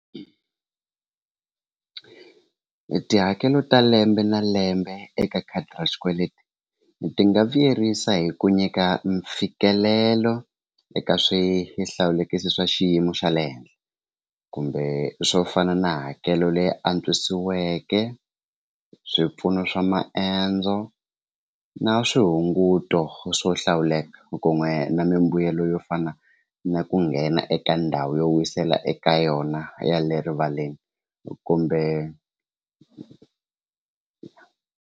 Tihakelo ta lembe na lembe eka khadi ra xikweleti ti nga vuyerisa hi ku nyika mfikelelo eka swihlawulekisi swa xiyimo xa le henhla kumbe swo fana na hakelo leyi antswisiweke swipfuno swa maendzo na swihunguto swo hlawuleka ku n'we na mimbuyelo yo fana na ku nghena eka ndhawu yo wisela eka yona ya le rivaleni kumbe.